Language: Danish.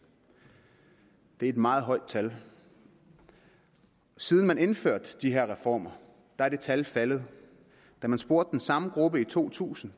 det er et meget højt tal siden man indførte de her reformer er det tal faldet da man spurgte den samme gruppe i to tusind